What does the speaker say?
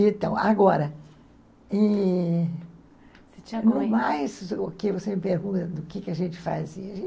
Então, agora... No mais, você me pergunta do que a gente fazia.